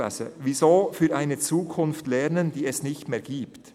«Wieso für eine Zukunft lernen, die es nicht mehr gibt?».